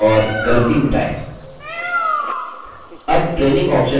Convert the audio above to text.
अब training options को निर्धारित करना सीखते हैं